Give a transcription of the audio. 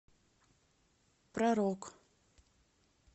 про рок